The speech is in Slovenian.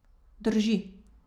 Drži.